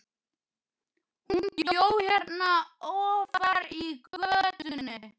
Hún bjó hérna ofar í götunni.